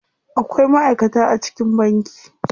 Akwai ma'aikata a cikin banki.